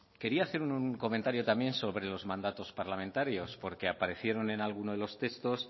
quería hacer un comentario también sobre los mandatos parlamentarios porque aparecieron en alguno de los textos